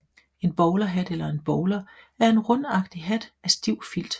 En bowlerhat eller en bowler er en rundagtig hat af stiv filt